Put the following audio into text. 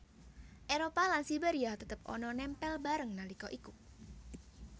Éropah lan Siberia tetep ana nempel bareng nalika iku